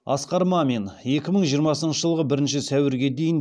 асқар мамин екі мың жиырмасыншы жылғы бірінші сәуірге дейін